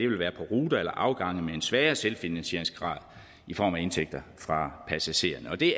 vil være på ruter eller afgange med en svagere selvfinansieringsgrad i form af indtægter fra passagererne og det